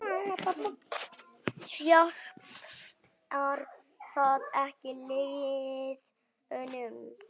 Hjálpar það ekki liðinu?